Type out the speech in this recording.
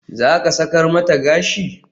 Zaka sakar mata gashi?